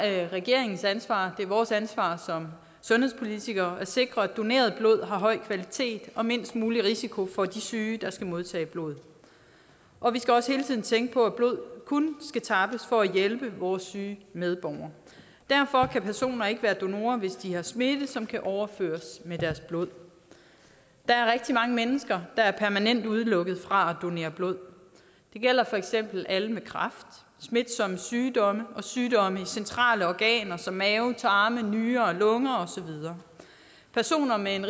er regeringens ansvar og vores ansvar som sundhedspolitikere at sikre at doneret blod har høj kvalitet og mindst mulig risiko for de syge der skal modtage blodet og vi skal også hele tiden tænke på at blod kun skal tappes for at hjælpe vores syge medborgere derfor kan personer ikke være donorer hvis de har smitte som kan overføres med deres blod det er rigtig mange mennesker der er permanent udelukket fra at donere blod det gælder for eksempel alle med kræft smitsomme sygdomme og sygdomme i centrale organer som mave tarme nyrer og lunger og så videre personer med en